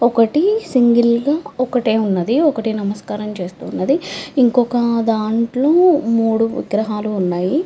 ఒకటి సింగల్ గా ఒకటే ఉన్నదీ ఒకటి నమస్కారం చేస్తున్నది ఇంకొక దాంట్లో మూడు విగ్రహాలు ఉన్నాయి.